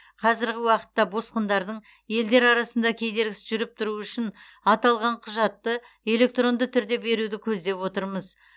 қазіргі уақытта босқындардың елдер арасында кедергісіз жүріп тұруы үшін аталған құжатты электронды түрде беруді көздеп отырмыз